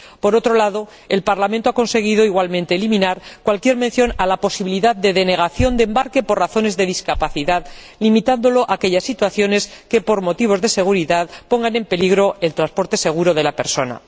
Por otro lado, el Parlamento ha conseguido igualmente eliminar cualquier mención a la posibilidad de denegación de embarque por razones de discapacidad, limitándola a aquellas situaciones que, por motivos de seguridad, pongan en peligro el transporte seguro de la persona.